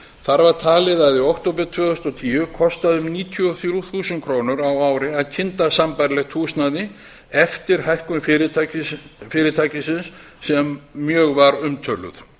þar var talið að í október tvö þúsund og tíu kostaði um níutíu og þrjú þúsund krónur á ári að kynda sambærilegt húsnæði eftir hækkun fyrirtækisins sem mjög var umtöluð